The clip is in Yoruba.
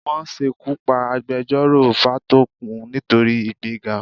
Wọ́n ṣekú pa agbejọ́rò Fátókun nítorí ìgbéga.